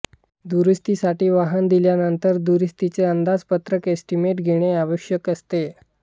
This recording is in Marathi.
दुरुस्तीसाठी वाहन दिल्यानंतर दुरुस्तीचे अंदाजपत्रक एस्टिमेट घेणे आवश्यक असते